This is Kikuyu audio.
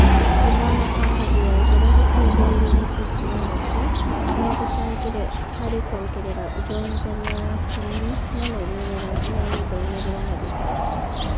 Gũthoma kwa ngathĩ ya igũrũ guteithĩrĩĩrio nĩ tekinoronjĩ no gũcangĩre harĩ kuongerera ũthomithania wa kinyi na maumĩrĩra ma mĩthomeere ya arutwo.